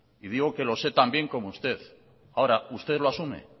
y digo que lo sé tan bien como usted ahora usted lo asume